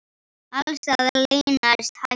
Alls staðar leynast hættur.